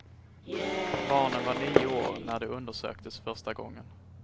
Barnen var nio år när de undersöktes första gången.